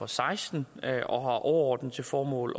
seksten og har overordnet til formål